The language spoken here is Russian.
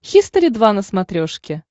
хистори два на смотрешке